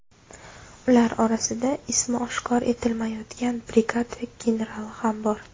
Ular orasida ismi oshkor etilmayotgan brigada generali ham bor.